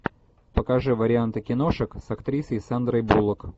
покажи варианты киношек с актрисой сандрой буллок